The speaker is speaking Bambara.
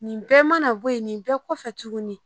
Nin bɛɛ mana bɔ yen nin bɛɛ kɔfɛ tuguni